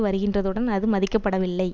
வருகின்றதுடன் அது மதிக்கப்படவில்லை